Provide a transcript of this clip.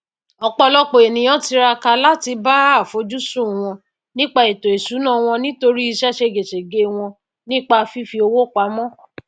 òpòlọpò ènìyàn tiraka láti bá àfojúsùn wọn nípa ètò ìsúná wọn nítorí ìse ségesège wón nípa fífi owó pamó